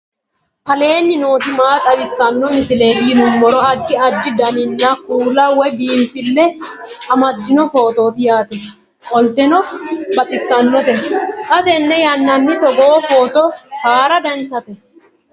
aleenni nooti maa xawisanno misileeti yinummoro addi addi dananna kuula woy biinfille amaddino footooti yaate qoltenno baxissannote xa tenne yannanni togoo footo haara danchate